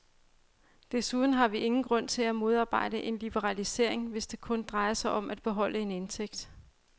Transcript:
Desuden har vi ingen grund til at modarbejde en liberalisering, hvis det kun drejer sig om at beholde en indtægt.